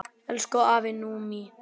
Elsku afi Númi.